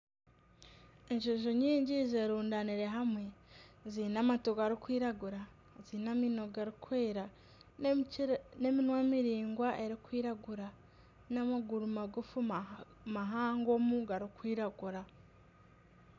Enjojo nyingi zerundanire hamwe zaine amatu gurikwiragura zaine amaino garikwera n'eminwa miraingwa erikwiragura n'amaguru magufu mahangomu gurikwiragura.